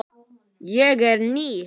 Ég er ný.